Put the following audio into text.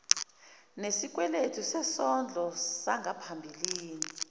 nesikweletu sesondlo sangaphambilini